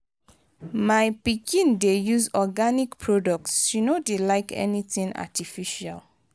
my pikin dey use organic products she no dey like anything artificial.